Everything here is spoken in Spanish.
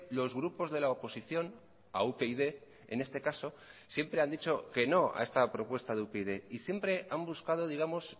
los grupos de la oposición a upyd en este caso siempre han dicho que no a esta propuesta de upyd y siempre han buscado digamos